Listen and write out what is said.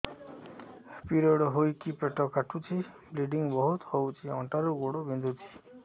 period ହୋଇକି ପେଟ କାଟୁଛି ବ୍ଲିଡ଼ିଙ୍ଗ ବହୁତ ହଉଚି ଅଣ୍ଟା ରୁ ଗୋଡ ବିନ୍ଧୁଛି